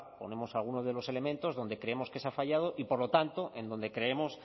ponemos alguno de los elementos donde creemos que se ha fallado y por lo tanto en donde creemos